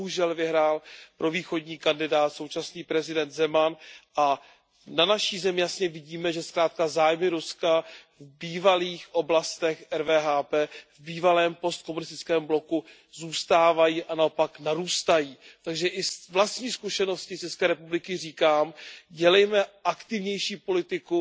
Bohužel vyhrál provýchodní kandidát, současný prezident Zeman, a na naší zemi jasně vidíme, že zkrátka zájmy Ruska v bývalých oblastech RVHP, v bývalém postkomunistickém bloku zůstávají a naopak narůstají. Takže i z vlastní zkušenosti z České republiky říkám, dělejme aktivnější politiku